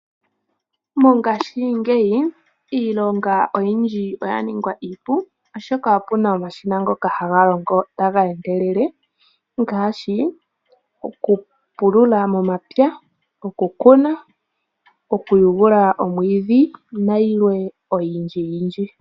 Mongashingeyi iilonga oyindji oya ninga iipu oshoka opuna omashina ngoka haga longo taga endelele ngaashi okupulula momapya, okukuna okuyugula omwiidhi nayilwe oyindjiyindyi.